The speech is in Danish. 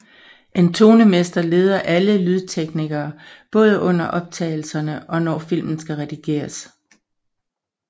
En tonemester leder alle lydteknikerne både under optagelserne og når filmen skal redigeres